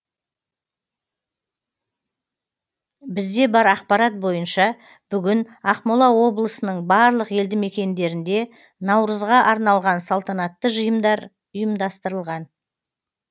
бізде бар ақпарат бойынша бүгін ақмола облысының барлық елді мекендерінде наурызға арналған салтанатты жиындар ұйымдастырылған